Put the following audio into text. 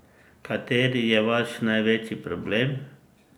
Kateri je vaš največji problem?